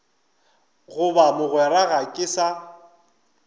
goba mogwera ga ke sa